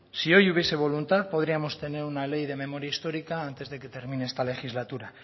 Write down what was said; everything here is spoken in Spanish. si hoy hubiese voluntad podríamos tener una ley de memoria histórica antes de que termine esta legislatura